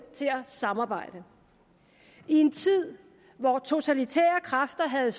til at samarbejde i en tid hvor totalitære kræfter havde